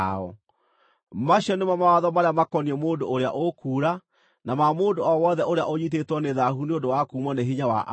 Macio nĩmo mawatho marĩa makoniĩ mũndũ ũrĩa ũkuura, na ma mũndũ o wothe ũrĩa ũnyiitĩtwo nĩ thaahu nĩ ũndũ wa kuumwo nĩ hinya wa arũme,